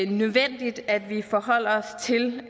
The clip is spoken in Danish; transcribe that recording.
nødvendigt at vi også forholder os til